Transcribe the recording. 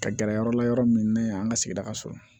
Ka gɛrɛ yɔrɔ la yɔrɔ min ne y'an ka sigida ka sɔrɔ